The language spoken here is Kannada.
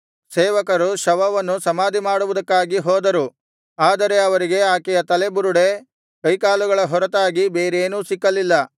ಸೇವಕರು ಶವವನ್ನು ಸಮಾಧಿಮಾಡುವುದಕ್ಕಾಗಿ ಹೋದರು ಆದರೆ ಅವರಿಗೆ ಆಕೆಯ ತಲೆಬುರುಡೆ ಕೈಕಾಲುಗಳ ಹೊರತಾಗಿ ಬೇರೇನೂ ಸಿಕ್ಕಲಿಲ್ಲ